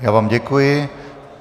Já vám děkuji.